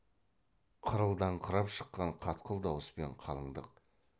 қырылдаңқырап шыққан қатқыл дауыспен қалыңдық